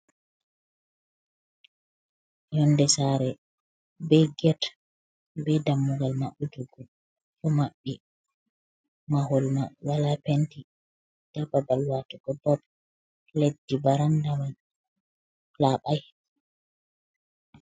Yonde sare be get, be dammugal maɓutugo ɗo maɓɓi mahol ma wala penti, nda babal watugo bob leddi baranda man laɓai.